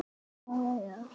Það stóð mikið til.